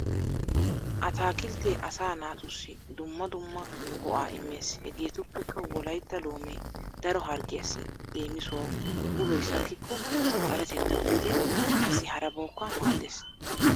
Ataakilttee asa naatussi dumma dumma go'a immees. Hegeetuppekka wolaytta loomee daro harggiyassi leemisuwawu uloy sakkikko xaletettawu gidin qassi harabawukka maaddees.